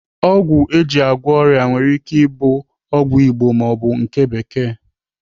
Ọgwụ eji agwọ ọrịa nwere ike ike ịbụ ọgwụ Igbo maọbụ nke bekee.